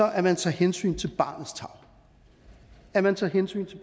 at man tager hensyn til barnets tarv at man tager hensyn til